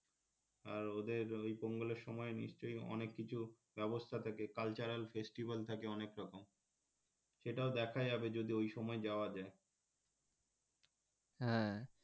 আর ওদের ওই পঙ্গালের সময় নিশ্চয়ই অনেককিছুর ব্যবস্থা থাকে cultural festival থাকে অনেকরকম সেটাও দেখা যাবে যদি ওই সময় যাওয়া যায় হ্যাঁ,